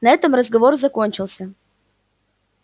на этом разговор закончился